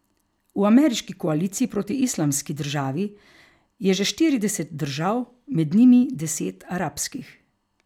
V ameriški koaliciji proti Islamski državi je že štirideset držav, med njimi deset arabskih.